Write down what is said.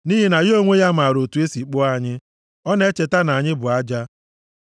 nʼihi na ya onwe ya maara otu e si kpụọ anyị, ọ na-echeta na anyị bụ aja.